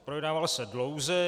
Projednával se dlouze.